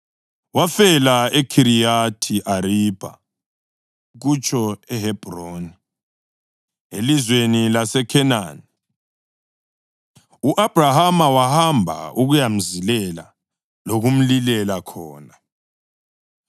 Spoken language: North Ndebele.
Wafela eKhiriyathi Aribha (kutsho eHebhroni) elizweni laseKhenani, u-Abhrahama wahamba ukuyamzilela lokumlilela khona.